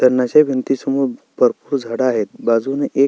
भिंतीसमोर भरपुर झाड आहेत बाजुन एक--